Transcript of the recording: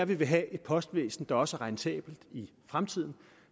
vi vil have et postvæsen der også er rentabelt i fremtiden